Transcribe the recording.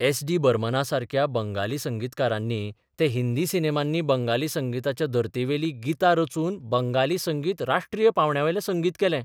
S D बर्मनासारक्या बंगाली संगीतकारांनी तें हिंदी सिनेमांनी बंगाली संगिताच्या धर्तेवेलीं गितां रचून बंगाली संगीत राष्ट्रीय पांवड्यावेलें संगीत केलें.